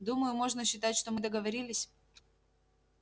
думаю можно считать что мы договорились